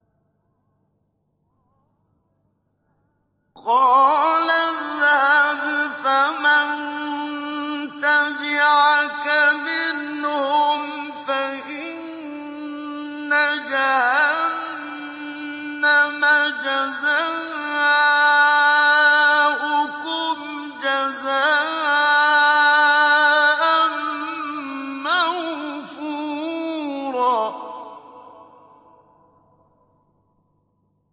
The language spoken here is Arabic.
قَالَ اذْهَبْ فَمَن تَبِعَكَ مِنْهُمْ فَإِنَّ جَهَنَّمَ جَزَاؤُكُمْ جَزَاءً مَّوْفُورًا